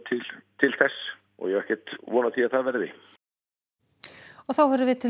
til þess og ég á ekki von á því að það verði